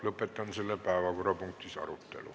Lõpetan selle päevakorrapunkti arutelu.